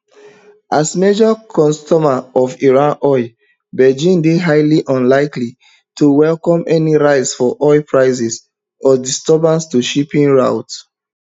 as major consumer of iran oil beijing dey highly unlikely to welcome any rise for oil prices or disturbance to shipping routes